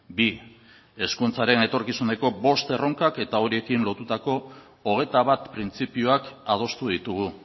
bi hezkuntzaren etorkizuneko bost erronkak eta horiekin lotutako hogeita bat printzipioak adostu ditugu